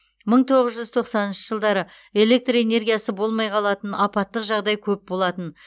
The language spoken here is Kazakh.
мың тоғыз жүз тоқсаныншы жылдары электр энергиясы болмай қалатын апаттық жағдай көп болатын